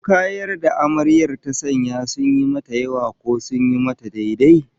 Ko kayan da Amaryar ta sanya sun yi mata yawa, ko sun yi mata daidai?